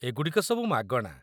ଏଗୁଡ଼ିକ ସବୁ ମାଗଣା